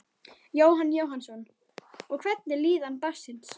Jóhann Jóhannsson: Og hvernig er líðan barnsins?